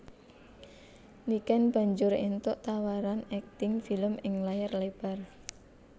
Niken banjur éntuk tawaran akting film ing layar lebar